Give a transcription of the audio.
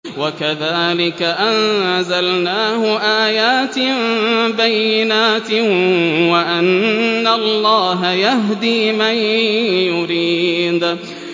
وَكَذَٰلِكَ أَنزَلْنَاهُ آيَاتٍ بَيِّنَاتٍ وَأَنَّ اللَّهَ يَهْدِي مَن يُرِيدُ